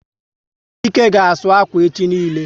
Chike ga asụ akwa echi niile